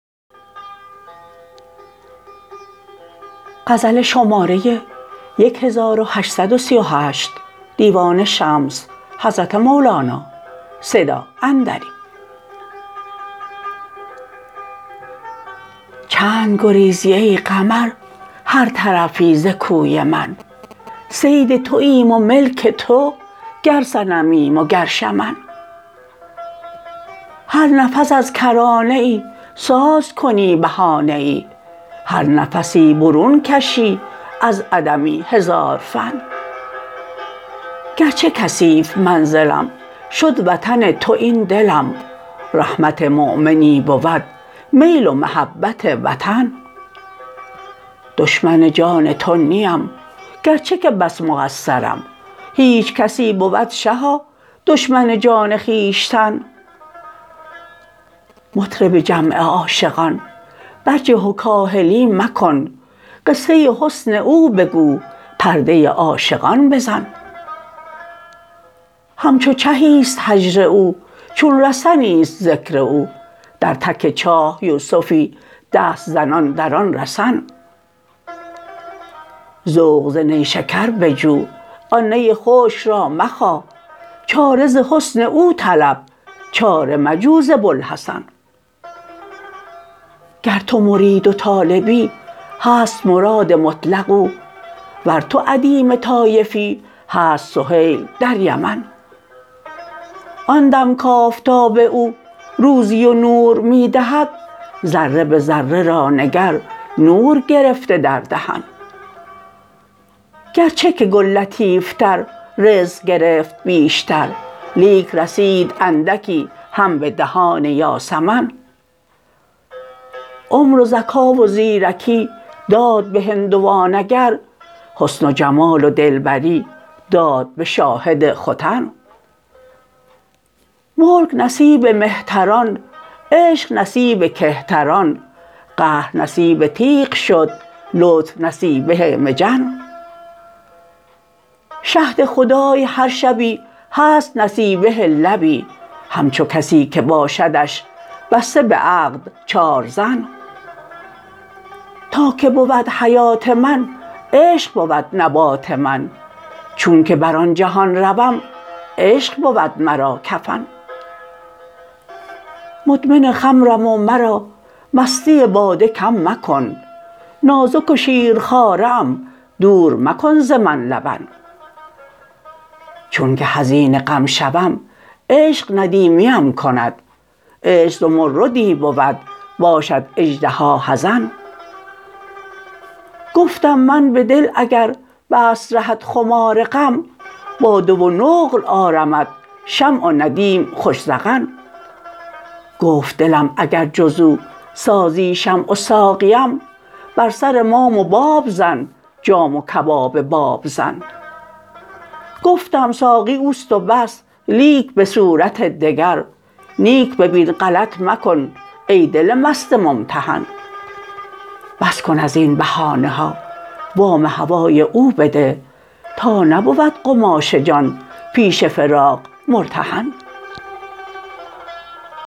چند گریزی ای قمر هر طرفی ز کوی من صید توایم و ملک تو گر صنمیم وگر شمن هر نفس از کرانه ای ساز کنی بهانه ای هر نفسی برون کشی از عدمی هزار فن گرچه کثیف منزلم شد وطن تو این دلم رحمت مؤمنی بود میل و محبت وطن دشمن جاه تو نیم گرچه که بس مقصرم هیچ کسی بود شها دشمن جان خویشتن مطرب جمع عاشقان برجه و کاهلی مکن قصه حسن او بگو پرده عاشقان بزن همچو چهی است هجر او چون رسنی است ذکر او در تک چاه یوسفی دست زنان در آن رسن ذوق ز نیشکر بجو آن نی خشک را مخا چاره ز حسن او طلب چاره مجو ز بوالحسن گر تو مرید و طالبی هست مراد مطلق او ور تو ادیم طایفی هست سهیل در یمن آن دم کآفتاب او روزی و نور می دهد ذره به ذره را نگر نور گرفته در دهن گرچه که گل لطیفتر رزق گرفت بیشتر لیک رسید اندکی هم به دهان یاسمن عمر و ذکا و زیرکی داد به هندوان اگر حسن و جمال و دلبری داد به شاهد ختن ملک نصیب مهتران عشق نصیب کهتران قهر نصیب تیغ شد لطف نصیبه مجن شهد خدای هر شبی هست نصیبه لبی همچو کسی که باشدش بسته به عقد چار زن تا که بود حیات من عشق بود نبات من چونک بر آن جهان روم عشق بود مرا کفن مدمن خمرم و مرا مستی باده کم مکن نازک و شیرخواره ام دوره مکن ز من لبن چونک حزین غم شوم عشق ندیمیم کند عشق زمردی بود باشد اژدها حزن گفتم من به دل اگر بست رهت خمار غم باده و نقل آرمت شمع و ندیم خوش ذقن گفت دلم اگر جز او سازی شمع و ساقیم بر سر مام و باب زن جام و کباب بابزن گفتم ساقی او است و بس لیک به صورت دگر نیک ببین غلط مکن ای دل مست ممتحن بس کن از این بهانه ها وام هوای او بده تا نبود قماش جان پیش فراق مرتهن